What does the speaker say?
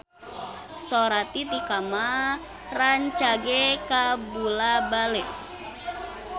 Sora Titi Kamal rancage kabula-bale